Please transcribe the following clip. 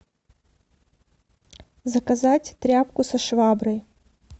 заказать тряпку со шваброй